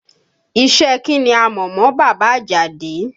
Iṣẹ́ ẹ kí ni a mọ̀ mọ bàbá Àjàdí?